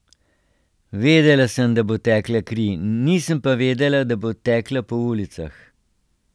Vedela sem, da bo tekla kri, nisem pa vedela, da bo tekla po ulicah.